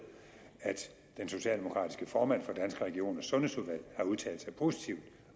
at den socialdemokratiske formand for danske regioners sundhedsudvalg har udtalt sig positivt